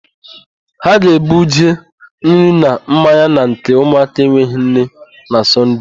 Ha ga-ebuje nri na mmanya na nke ụmụaka enweghị nne na Sọnde.